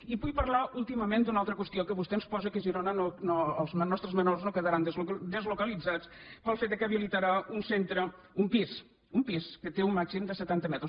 i vull parlar últimament d’una altra qüestió que vostè ens posa que a girona els nostres menors no quedaran deslocalitzats pel fet que habilitarà un centre un pis un pis que té un màxim de setanta metres